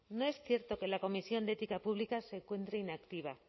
no es cierto que la comisión de ética pública se encuentre inactiva